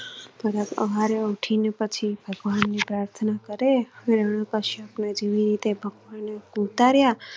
સવારે ઉઠી ને પછી ભગવાન ને પ્રાર્થના કાર્ય ઉતાર્યા.